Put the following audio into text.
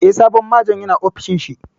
Eh, sabon Majon ya na ofishin shi